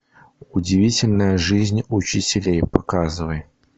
удивительная жизнь учителей показывай